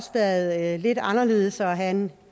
været lidt anderledes at have en